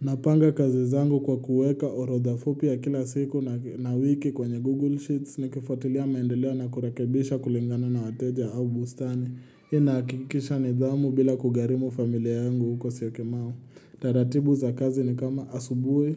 Napanga kazi zangu kwa kuweka orodha fupi ya kila siku na wiki kwenye Google Sheets nikifuatilia maendeleo na kurekebisha kulingana na wateja au bustani. Hii inahakikisha nidhamu bila kugharimu familia yangu huko syokimau. Taratibu za kazi ni kama asubuhi.